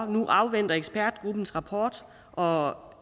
nu afventer ekspertgruppens rapport og